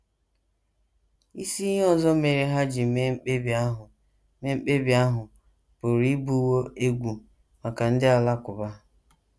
Isi ihe ọzọ mere ha ji mee mkpebi ahụ mee mkpebi ahụ pụrụ ịbụwo egwu maka ndị Alakụba.